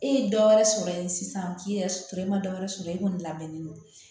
E ye dɔ wɛrɛ sɔrɔ yen sisan k'i yɛrɛ sɔrɔ e ma dɔ wɛrɛ sɔrɔ e kɔni labɛnnen don